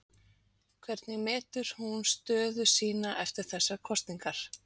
Hvernig metur hún stöðu sína eftir þessar kosningar?